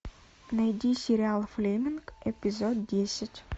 найди сериал флеминг эпизод десять